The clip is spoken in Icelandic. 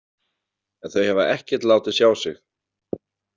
En þau hafa ekkert látið sjá sig.